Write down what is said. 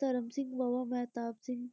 ਧਰਮ ਸਿੰਘ ਤੇ ਬਾਬਾ ਮਹਿਤਾਬ ਸਿੰਘ,